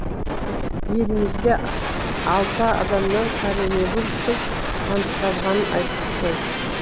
елімізде алты адамнан коронавирустың анықталғанын айттық қой